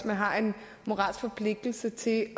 man har en moralsk forpligtelse til at